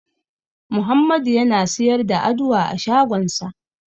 Muhammadu yana siyar da Aduwa a shagonsa.